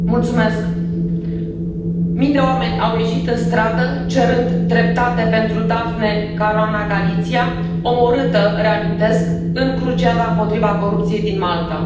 Doamna președintă, mii de oameni au ieșit în stradă cerând dreptate pentru Daphne Caruana Galizia, omorâtă, reamintesc, în cruciada împotriva corupției din Malta.